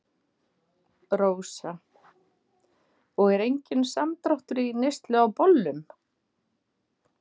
Rósa: Og er enginn samdráttur í neyslu á bollum?